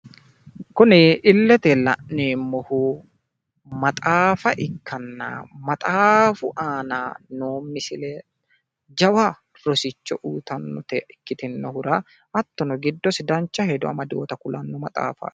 Kuni illete la'neemmohu maxaafa ikkanna, maxaafu aana noo misile jawa rosicho uuyitannota ikkitinohura hattono giddosi dancha hedo amadinota kulanno maxaafaati.